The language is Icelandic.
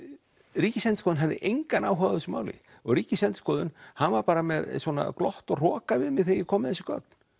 Ríkisendurskoðun hafði engan áhuga á þessu máli og Ríkisendurskoðun hann var bara með svona glott og hroka við mig þegar ég kom með þessi gögn